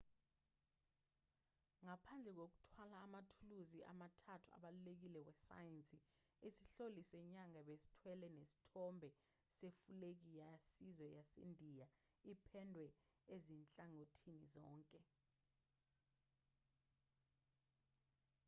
ngaphandle kokuthwala amathuluzi amathathu abalulekile wesayensi isihloli senyanga besithwele nesithombe sefulegi yesizwe yasendiya ipendwe ezinhlangothini zonke